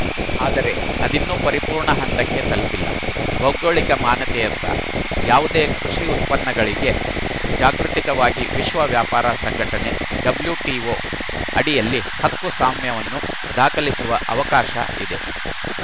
ಆದರೆ ಅದಿನ್ನೂ ಪರಿಪೂರ್ಣ ಹಂತಕ್ಕೆ ತಲುಪಿಲ್ಲ ಭೌಗೋಳಿಕ ಮಾನ್ಯತೆಯತ್ತ ಯಾವುದೇ ಕೃಷ್ಯುತ್ಪನ್ನಗಳಿಗೆ ಜಾಗೃತಿಕವಾಗಿ ವಿಶ್ವ ವ್ಯಾಪಾರ ಸಂಘಟನೆಡಬ್ಲ್ಯೂಟಿಒಅಡಿಯಲ್ಲಿ ಹಕ್ಕು ಸ್ವಾಮ್ಯವನ್ನು ದಾಖಲಿಸುವ ಅವಕಾಶ ಇದೆ